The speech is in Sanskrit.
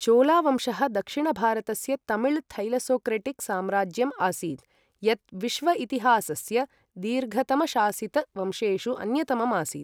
चोलावंशः दक्षिणभारतस्य तमिल थैलसोक्रेटिक साम्राज्यम् आसीत्, यत् विश्व इतिहासस्य दीर्घतम शासित वंशेषु अन्यतमम् आसीत् ।